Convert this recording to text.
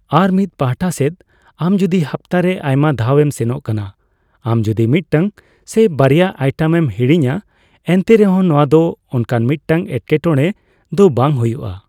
ᱟᱨᱢᱤᱫ ᱯᱟᱦᱟᱴᱟ ᱥᱮᱫ, ᱟᱢ ᱡᱩᱫᱤ ᱦᱟᱯᱛᱟ ᱨᱮ ᱟᱭᱢᱟ ᱫᱷᱟᱣ ᱮᱢ ᱥᱮᱱᱚᱜ ᱠᱟᱱᱟ, ᱟᱢ ᱡᱩᱫᱤ ᱢᱤᱫ ᱴᱟᱝ ᱥᱮ ᱵᱟᱨᱭᱟ ᱟᱭᱴᱮᱹᱢ ᱮᱢ ᱦᱤᱲᱤᱧᱼᱟ ᱮᱱᱛᱮᱨᱮᱦᱚᱸ ᱱᱚᱣᱟ ᱫᱚ ᱚᱱᱠᱟᱱ ᱢᱤᱫᱴᱟᱜ ᱮᱴᱠᱮ ᱴᱚᱲᱮ ᱫᱚ ᱵᱟᱝ ᱦᱳᱭᱳᱜᱼᱟ ᱾